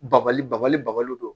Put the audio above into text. Babali babali babali don